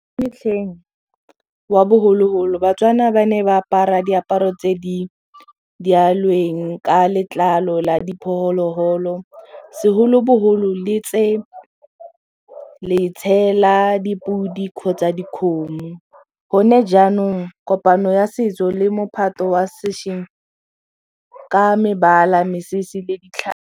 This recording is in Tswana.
Metlheng wa bogologolo ba-Tswana ba ne ba apara diaparo tse di ka letlalo la diphologolo segolobogolo la dipodi kgotsa dikgomo gone jaanong kopano ya setso le mophato wa sešeng ka mebala mesese le .